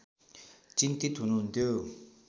चिन्तित हुनुहुन्थ्यो